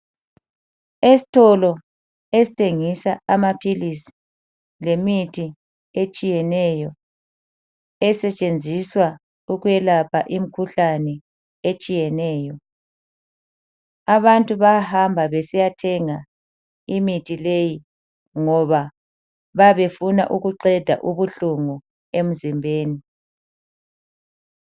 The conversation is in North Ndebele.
Esitolo esithengisa amaphilizi lemithi etshiyeneyo esetshenziswa ukwelapha imkhuhlane etshiyeneyo. Abantu bahamba besiya thenga imithi leyi ngoba babe funa ukuqeda ubuhlungu emzimbeni.